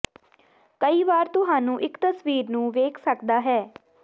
ਕਈ ਵਾਰ ਤੁਹਾਨੂੰ ਇੱਕ ਤਸਵੀਰ ਨੂੰ ਵੇਖ ਸਕਦਾ ਹੈ